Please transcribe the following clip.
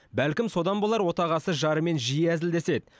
бәлкім содан болар отағасы жарымен жиі әзілдеседі